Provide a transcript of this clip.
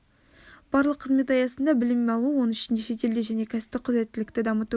барлық қызмет аясында білім алу оның ішінде шетелде және кәсіптік құзыреттілікті дамыту